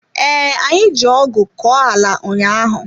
Ee, anyị ji ọgụ kọọ ala ụnyaahụ.